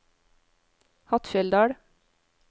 Hattfjelldal